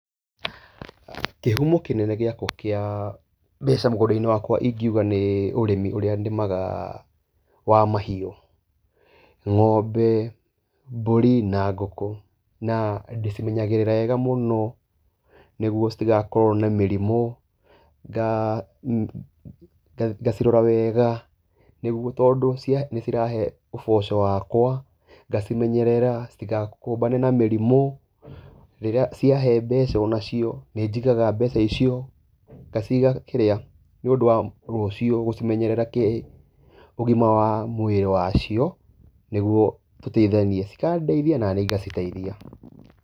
Kĩhumo kĩnene gĩakwa kĩa mbeca mũgũnda-inĩ wakwa ingiuga nĩ ũrĩmi ũrĩa nĩmaga wa mahiũ. Ng'ombe, mbũri na ngũkũ, na ndĩcimenyagĩrĩra wega mũno nĩguo citigakorwo na mĩrimũ, ngacirora wega nĩguo tondũ nĩ cirahe ũboco wakwa, ngacimenyerera citigakũmbane na mĩrimũ, rĩrĩa ciahe mbeca o nacio, nĩ njigaga mbeca icio, ngaciga nĩũndũ wa rũcio gũcimenyerera kĩ-ũgima wa mwĩrĩ wacio, nĩguo tũteithanie, cikandeithia, naniĩ ngaciteithia.